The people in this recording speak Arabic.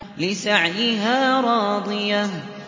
لِّسَعْيِهَا رَاضِيَةٌ